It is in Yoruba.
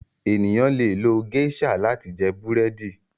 ènìyàn lẹ lo geisha láti jẹ Búrẹ́di